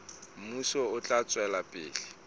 mmuso o tla tswela pele